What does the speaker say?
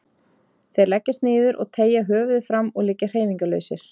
Þeir leggjast niður og teygja höfuðið fram og liggja hreyfingarlausir.